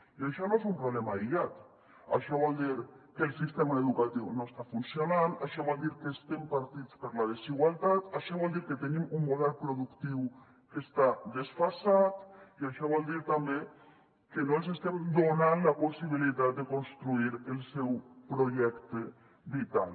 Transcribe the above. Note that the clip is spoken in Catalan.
i això no és un problema aïllat això vol dir que el sistema educatiu no està funcionant això vol dir que estem partits per la desigualtat això vol dir que tenim un model productiu que està desfasat i això vol dir també que no els estem donant la possibilitat de construir el seu projecte vital